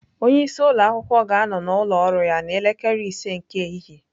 Onye isi ụlọ akwụkwọ ga-anọ n'ụlọ ọrụ ya n'elekere ise nke ehihie.